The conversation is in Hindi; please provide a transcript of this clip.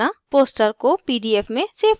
* poster को pdf में सेव करना